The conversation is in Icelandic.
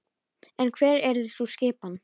En hver yrði sú skipan?